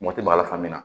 Mɔti b'a la fan min na